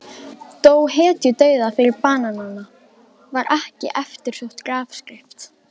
Dó hetjudauða fyrir banana var ekki eftirsótt grafskrift.